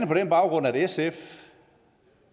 på den baggrund at sf